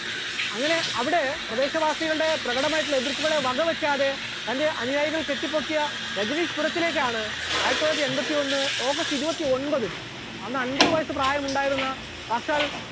അങ്ങനെ അവിടെ പ്രദേശവാസികളുടെ പ്രകടമായിട്ടുള്ള എതിർപ്പുകളെ വകവെക്കാതെ തന്റെ അനുയായികൾ കെട്ടിപ്പൊക്കിയ രജനീഷ് പുരത്തിലേക്കാണ് ആയിരത്തിത്തൊള്ളായിരത്തി എൺപത്തിയൊന്ന് august ഇരുപത്തിയൊൻപത്തിന് അന്ന് അൻപത് വയസ്സ് പ്രായമുണ്ടായിരുന്ന സാക്ഷാൽ